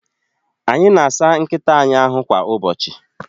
Anyị na-asa nkịta anyị ahu kwa ụbọchị